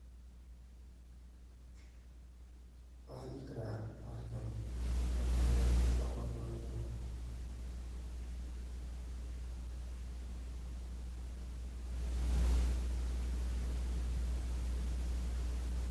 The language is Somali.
Waxan dihi karaa halkan qof ayaa loawaal marinaya.